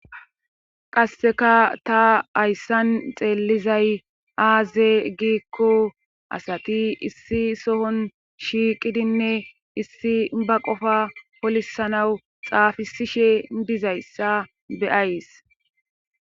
qasseka ta hayssan xeellizay aaze giikko asati issi sohon shiiqidinne issi ba qofa polisanawu xaafisishe dizayssa be,ayis